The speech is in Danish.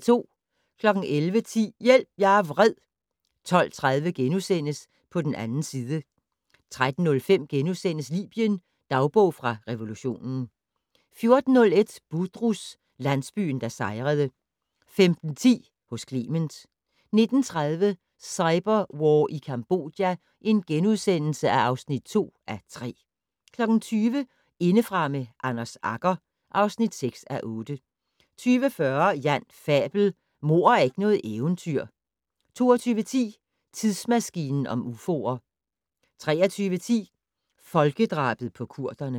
11:10: Hjælp - jeg er vred! 12:30: På den 2. side * 13:05: Libyen - dagbog fra revolutionen * 14:01: Budrus - landsbyen der sejrede 15:10: Hos Clement 19:30: Cyberwar i Cambodja (2:3)* 20:00: Indefra med Anders Agger (6:8) 20:40: Jan Fabel: Mord er ikke noget eventyr 22:10: Tidsmaskinen om ufoer 23:10: Folkedrabet på kurderne